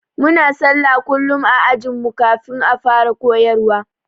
Muna sallah kullum ã ajin mu kafin a fara koyarwa.